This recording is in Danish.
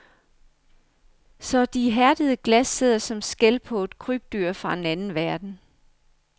Så de hærdede glas sidder som skæl på et krybdyr fra en anden verden.